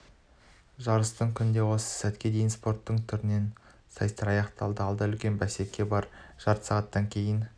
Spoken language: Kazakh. жарыстың күнінде осы сәтке дейін спорттың түрінен сайыстар аяқталды алда үлкен бәсеке бар жарты сағаттан кейін